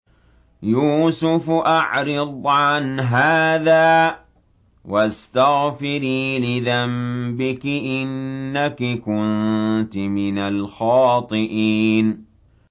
يُوسُفُ أَعْرِضْ عَنْ هَٰذَا ۚ وَاسْتَغْفِرِي لِذَنبِكِ ۖ إِنَّكِ كُنتِ مِنَ الْخَاطِئِينَ